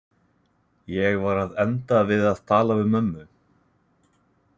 Ég var að enda við að tala við mömmu.